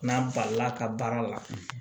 N'a balila ka baara la